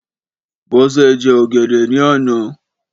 Bọ́sẹ̀ jẹ ọ̀gẹ̀dẹ̀ ní àná.